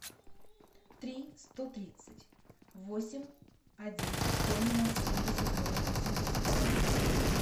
три сто тридцать восемь один семь ноль семьдесят ноль восемьдесят два